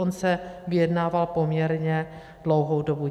On se vyjednával poměrně dlouhou dobu.